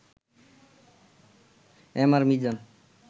MR Mizan